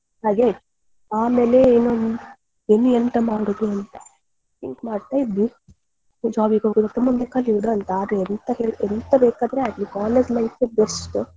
ಆಮೇಲೆ ಇನ್ನು ಎಂತ ಮಾಡುದು ಅಂತ think ಮಾಡ್ತಾ ಇದ್ವಿ job ಗೆ ಹೋಗುದ ಮುಂದೆ ಕಲಿಯುದಾ ಅಂತ. ಎಂತ ಬೇಕಾದ್ರೂ ಆಗ್ಲಿ college life ಏ best .